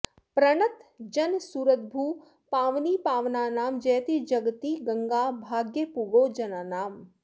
प्रणतजनसुरद्रुः पावनी पावनानां जयति जगति गङ्गा भाग्यपूगो जनानाम्